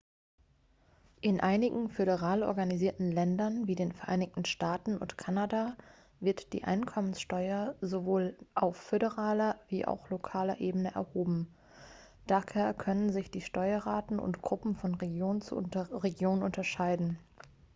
in einigen föderal organisierten ländern wie den vereinigten staaten und kanada wird die einkommenssteuer sowohl auf föderaler wie auch lokaler ebene erhoben daher können sich die steuerraten und gruppen von region zu region unterscheiden